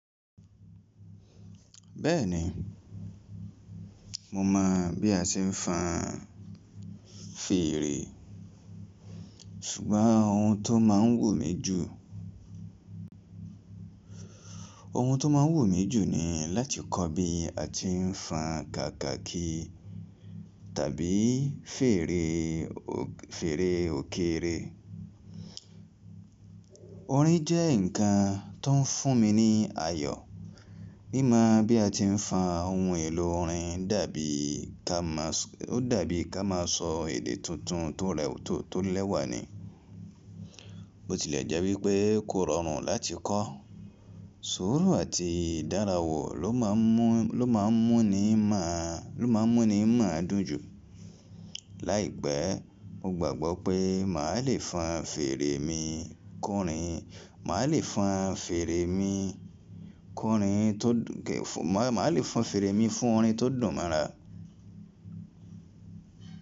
Bẹ́ẹ̀ni, mo mọ̀ bí a ṣe ń fan fèrè, ṣùgbọ́n ohun tó máa ń wù mí jù, ohun tó máa ń wù mí jù ni láti kọ́ bí a ti ń fa kakaki tàbí fèrè òkéré. Orin jẹ́ ǹkan tó ń fún mi ní ayọ̀. Mí máa bí a ti ń fa ohun èlò orin dàbí ká má a sọ èdè tuntun tó lẹ́wà ni. Bó tilẹ̀ jẹ́ wípé kò rọrùn láti kọ́, sùúrù àti ìdárayá ló máa ń múni mọ̀ọ́ dùn jù. Láìpẹ́, mo gbàgbọ́ pé màá le fan fèrè mi le fa fèrè mi fún orin tó dùn mọ́ra.